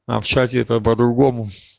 а в чате это по-другому